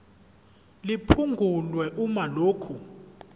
liphungulwe uma lokhu